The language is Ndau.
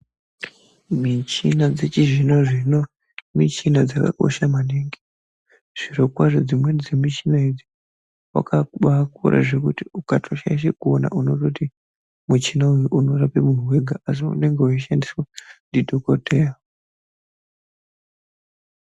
Michina dzechizvino-zvino, muchina dzakakosha maningi. Zvirokwazvo dzimweni dzemichina idzi dzakabaakura zvekutoti ukashaishe kuona, unototi muchina uyu unorapa munthu wega asi unenge weitoshandiswa ndidhokodheya.